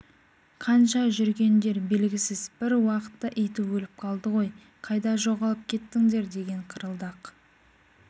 қанша жүргендер белгісіз бір уақытта иті өліп қалды ғой қайда жоғалып кеттіңдер деген қырылдақ